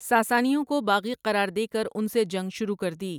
ساسانیوں کو باغی قرار دے کر ان سے جنگ شروع کردی۔